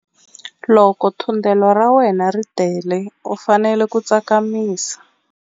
Loko thundelo ra wena ri tele u fanele ku tsakamisa.